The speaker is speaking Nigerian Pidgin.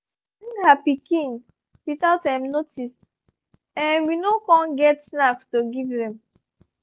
she um bring her pikin without um notice um we no com get enough snacks to give them